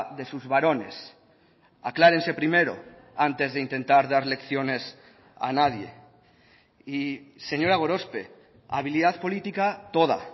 de sus barones aclárense primero antes de intentar dar lecciones a nadie y señora gorospe habilidad política toda